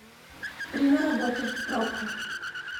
время работы пробка